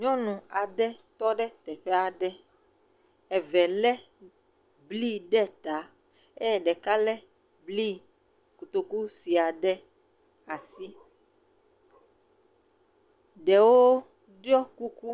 Nyɔnu aɖe tɔ ɖe teƒe aɖe. eve lé bli ɖe ta eye ɖeka lé bli kotoku sue aɖe ɖe asi. Ɖewo ɖɔ kuku.